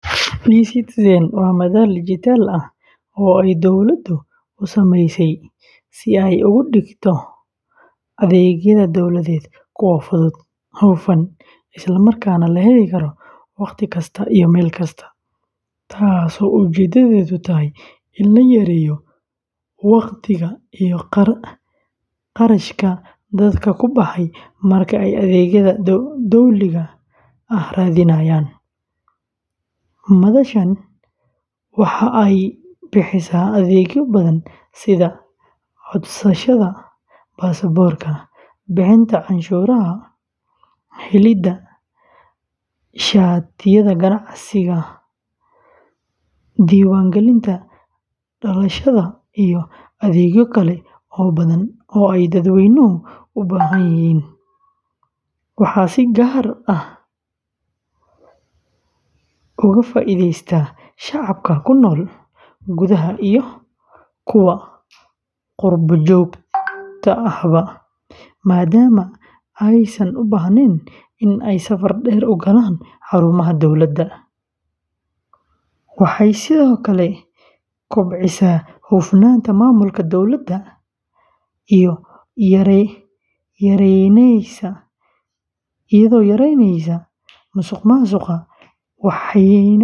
eCitizen waa madal dijitaal ah oo ay dawladdu u sameysay si ay uga dhigto adeegyada dowladeed kuwo fudud, hufan, isla markaana la heli karo waqti kasta iyo meel kasta, taasoo ujeedadeedu tahay in la yareeyo waqtiga iyo kharashka dadka ku baxa marka ay adeegyada dowliga ah raadinayaan. Madashan waxa ay bixisaa adeegyo badan sida codsashada baasaboorka, bixinta canshuuraha, helidda shatiyada ganacsiga, diiwaangelinta dhalashada, iyo adeegyo kale oo badan oo ay dadweynuhu u baahan yihiin. Waxaa si gaar ah uga faa’iidaysta shacabka ku nool gudaha iyo kuwa qurbo-joogta ahba, maadaama aysan u baahnayn in ay safar dheer u galaan xarumaha dowladda. eCitizen waxay sidoo kale kobcisaa hufnaanta maamulka dowladda, iyadoo yareyneysa musuqmaasuqa, waxayna fududeyneysaa.